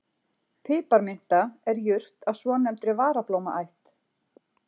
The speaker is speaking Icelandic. Piparminta er jurt af svonefndri varablómaætt.